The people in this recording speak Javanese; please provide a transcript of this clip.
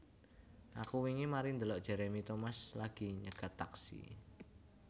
Aku wingi mari ndelok Jeremy Thomas lagi nyegat taksi